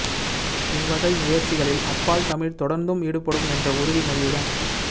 இவ்வகை முயற்சிகளில் அப்பால் தமிழ் தொடர்ந்தும் ஈடுபடும் என்ற உறுதி மொழியுடன்